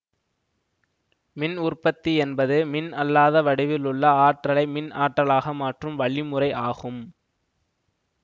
மின் உற்பத்தி என்பது மின் அல்லாத வடிவில் உள்ள ஆற்றலை மின் ஆற்றலாக மாற்றும் வழிமுறை ஆகும்